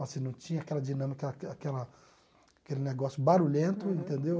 Assim, não tinha aquela dinâmica, aque aquela aquele negócio barulhento, entendeu?